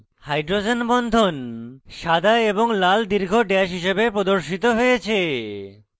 hydrogen বন্ধন সাদা এবং লাল দীর্ঘ ড্যাশ হিসাবে প্রদর্শিত হয়েছে